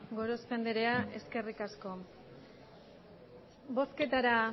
gorospe andrea eskerrik asko